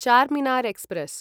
Charminar express